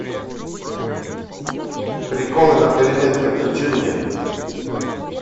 приколы на переменке включи мне